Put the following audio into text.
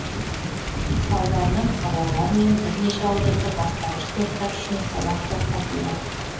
салдарынан қалалар мен бірнеше ауданда бастауыш сыныптар үшін сабақ тоқтатылды